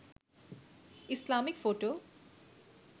Islamic photo